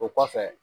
O kɔfɛ